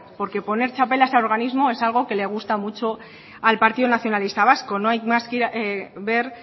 porque poner txapelas a organismos es algo que les gusta mucho al partido nacionalista vasco no hay más que ver